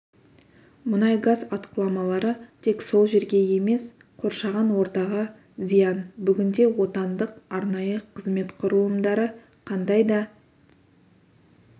мұнай-газ атқыламалары тек сол жерге емес қоршаған ортаға зиян бүгінде отандық арнайы қызмет құрылымдары қандай да